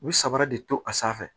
U bɛ sabara de to a sanfɛ